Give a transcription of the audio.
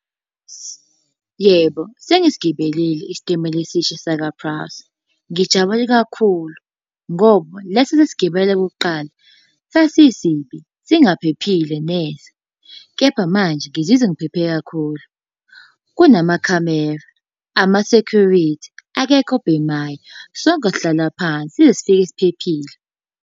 Yebo, sengisigibelile isitimela esisha sakwa-Prasa. Ngijabule kakhulu, ngoba lesi ebesisigibele okokuqala sasisibi, singaphephile neze. Kepha manje ngizizwa ngiphephe kakhulu. Kunamakhamera, amasekhurithi, akekho obhemayo. Sonke sihlala phansi size sifike siphephile.